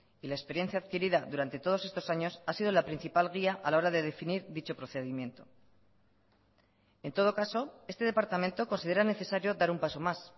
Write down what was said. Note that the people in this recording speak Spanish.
y la experiencia adquirida durante todos estos años ha sido la principal guía a la hora de definir dicho procedimiento en todo caso este departamento considera necesario dar un paso más